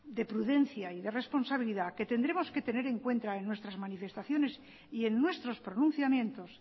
de prudencia y de responsabilidad que tendremos que tener en cuenta en nuestras manifestaciones y en nuestros pronunciamientos